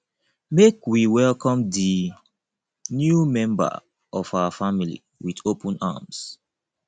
make we welcome di new member of our family wit open arms